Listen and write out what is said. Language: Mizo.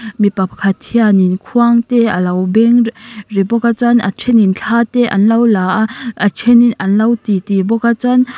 mipa pakhat hianin khuang te a lo beng ri bawk a chhuan a thenin thla te an lo la a a then an lo ti ti bawk a chuan--